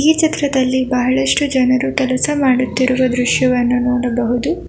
ಈ ಚಿತ್ರದಲ್ಲಿ ಬಹಳಷ್ಟು ಜನರು ಕೆಲಸ ಮಾಡುತ್ತಿರುವ ದೃಶ್ಯವನ್ನು ನೋಡಬಹುದು.